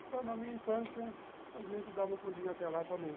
Então, na minha infância, a gente dava um pulinho até lá também.